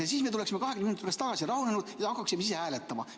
Ja siis me tuleksime 20 minuti pärast tagasi, oleksime rahunenud ja hakkaksime hääletama.